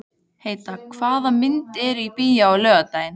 Heida, hvaða myndir eru í bíó á laugardaginn?